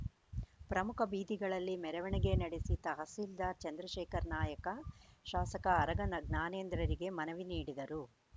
ಪ್ರಮುಖ ಬೀದಿಗಳಲ್ಲಿ ಮೆರವಣಿಗೆ ನಡೆಸಿ ತಹಶೀಲ್ದಾರ್‌ ಚಂದ್ರಶೇಖರ ನಾಯಕ ಶಾಸಕ ಆರಗ ಜ್ಞಾ ಜ್ಞಾನೇಂದ್ರರಿಗೆ ಮನವಿ ನೀಡಿದರು